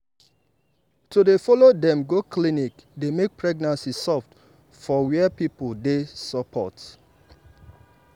to dey follow dem go clinic dey make pregnancy soft for where people dey support.